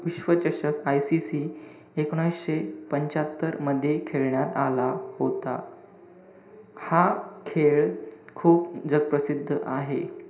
विश्वचषक ICC एकोणविशे पंच्यात्तर मध्ये खेळण्यात आला होता. हा खेळ खूप जगप्रसिद्ध आहे.